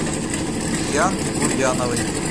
дианке гурьяновой